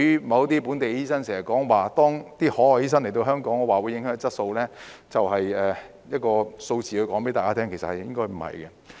某些本地醫生經常說，海外醫生來港會影響質素，上述例子足以告訴大家，實情應該不是這樣。